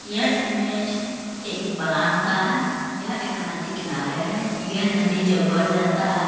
यह इमेज एक का है। ये एक नदी किनारे है। यह नदी जब बढ़ जाता है --